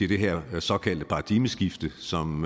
det her såkaldte paradigmeskifte som